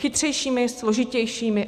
Chytřejšími, složitějšími.